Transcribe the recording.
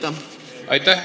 Aitäh!